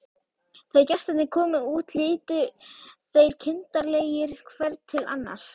Þegar gestirnir komu út litu þeir kindarlegir hver til annars.